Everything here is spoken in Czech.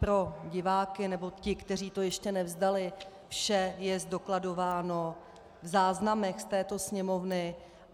Pro diváky nebo ty, kteří to ještě nevzdali, vše je zdokladováno v záznamech z této Sněmovny.